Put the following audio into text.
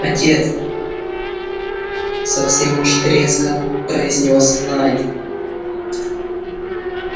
отец совсем уж резко произнёс найд